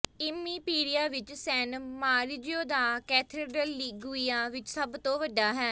ਇਮੀਪੀਰੀਆ ਵਿਚ San Maurizio ਦਾ cathedral Liguria ਵਿਚ ਸਭ ਤੋਂ ਵੱਡਾ ਹੈ